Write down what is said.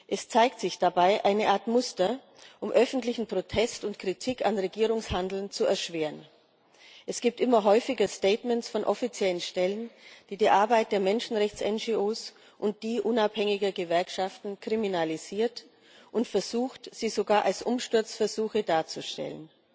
Es zeigt sich dabei eine Art Muster, um öffentlichen Protest und Kritik am Regierungshandeln zu erschweren. Es gibt immer häufiger Statements von offiziellen Stellen, mit denen die Arbeit der Menschenrechts NGOs und unabhängiger Gewerkschaften kriminalisiert und versucht wird, sie sogar als Umsturzversuche darzustellen.